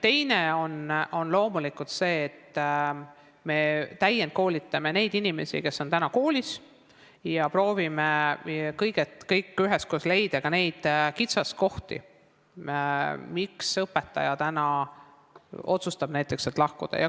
Teiseks on loomulikult oluline, et me täiendkoolitaksime neid inimesi, kes töötavad koolis, ja prooviksime kõik üheskoos leida kitsaskohti, mille tõttu õpetajad otsustavad koolist lahkuda.